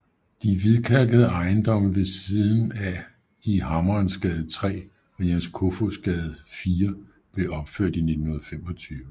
De hvidkalkede ejendomme ved siden af i Hammerensgade 3 og Jens Kofods Gade 4 blev opført i 1925